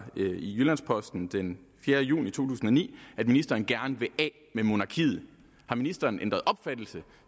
i jyllands posten den fjerde juni to tusind og ni at ministeren gerne vil af med monarkiet har ministeren ændret opfattelse